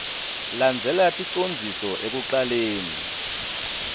landzela ticondziso ekucaleni